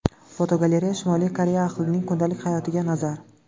Fotogalereya: Shimoliy Koreya ahlining kundalik hayotiga nazar.